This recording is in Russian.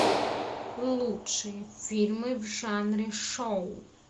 лучшие фильмы в жанре шоу